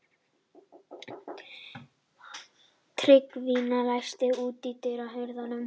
Tryggvína, læstu útidyrunum.